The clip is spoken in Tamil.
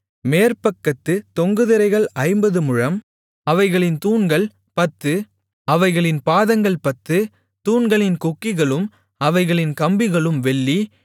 மேற்பக்கத்துத் தொங்கு திரைகள் ஐம்பது முழம் அவைகளின் தூண்கள் பத்து அவைகளின் பாதங்கள் பத்து தூண்களின் கொக்கிகளும் அவைகளின் கம்பிகளும் வெள்ளி